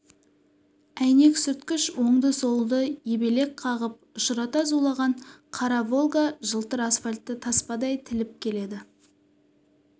әйнек сүрткіш оңды-солды ебелек қағып ұшырта зулаған қара волга жылтыр асфальтты таспадай тіліп келеді